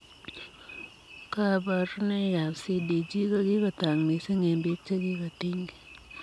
Kabarunoik ap CDG ko kikotaak misiing eng piik chekikotinygei.